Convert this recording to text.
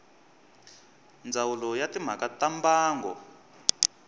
ndzawulo ya timhaka ta mbango